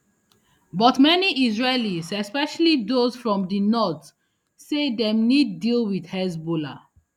but many israelis especially those from di north say dem need deal wit hezbollah